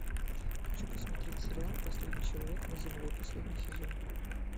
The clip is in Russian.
хочу посмотреть сериал последний человек на земле последний сезон